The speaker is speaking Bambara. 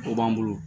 O b'an bolo